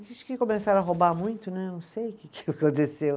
Dizem que começaram a roubar muito né, não sei o que que aconteceu.